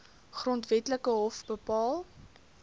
grondwetlike hof bepaal